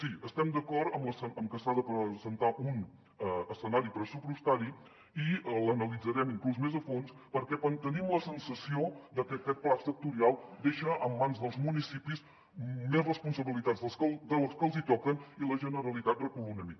sí estem d’acord en que s’ha de presentar un escenari pressupostari i l’analitzarem inclús més a fons perquè tenim la sensació que aquest pla sectorial deixa en mans dels municipis més responsabilitats de les que els hi toquen i la generalitat recula una mica